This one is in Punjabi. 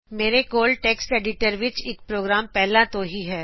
ਮੇਰੇ ਕੋਲ ਟੈਕਸਟ ਐਡੀਟਰ ਵਿਚ ਇਕ ਪ੍ਰੋਗਰਾਮ ਪਹਿਲਾਂ ਤੋ ਹੀ ਹੈ